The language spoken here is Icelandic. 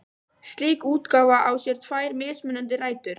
Slík útgáfa á sér tvær mismunandi rætur.